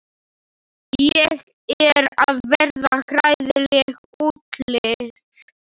Ég er að verða hræðileg útlits.